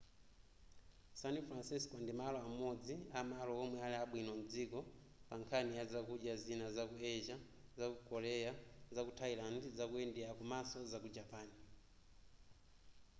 san francisco ndi malo amodzi amalo omwe ali abwino mdziko pa nkhani ya zakudya zina zaku asia zaku korea zaku thailand zaku india komaso zaku japan